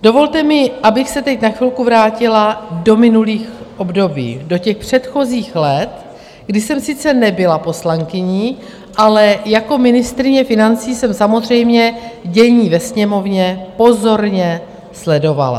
Dovolte mi, abych se teď na chvilku vrátila do minulých období, do těch předchozích let, kdy jsem sice nebyla poslankyní, ale jako ministryně financí jsem samozřejmě dění ve Sněmovně pozorně sledovala.